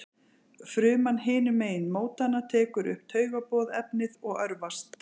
fruman hinum megin mótanna tekur upp taugaboðefnið og örvast